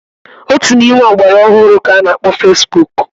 Otu n'ime ya bụ ihe ọgbara ọhụrụ k'a na-akpọ fesbuk.